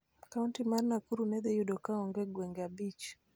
Kaonti mar Nakuru ne dhi yudo kaonge gwenge abich